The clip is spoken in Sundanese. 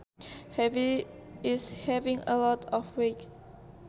Heavy is having a lot of weight